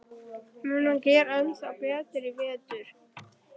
Mun hann gera ennþá betur í vetur?